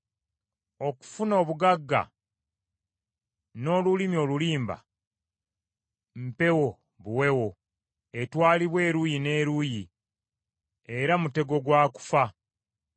Okufuna obugagga n’olulimi olulimba, mpewo buwewo etwalibwa eruuyi n’eruuyi era mutego gwa kufa.